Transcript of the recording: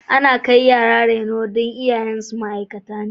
Ana kai yara gidan reno don iyayensu ma'aikata ne.